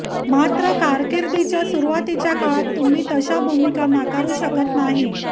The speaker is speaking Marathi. मात्र कारकिर्दीच्या सुरुवातीच्या काळात तुम्ही तशा भूमिका नाकारू शकत नाही